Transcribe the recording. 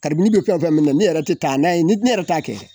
Karibini be fɛn fɛn min na ne yɛrɛ te taa n'a ye ne yɛrɛ t'a kɛ yɛrɛ